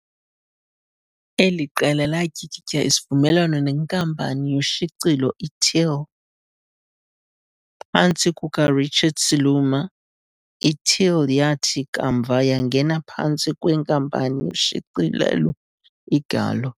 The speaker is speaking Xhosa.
Eli qela latyikitya isivumelwano nenkampani yoshicilelo iTeal, phantsi kukaRichard Siluma, iTeal yathi kamva yangena phantsi kwenkampani yoshicilelo iGallo.